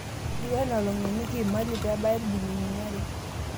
Etiu enaa olong'eniki imali pebaya ibilinini are